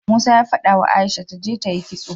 Musa ya fadawa aisha taje tayi kitso